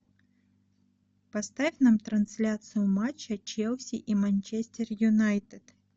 поставь нам трансляцию матча челси и манчестер юнайтед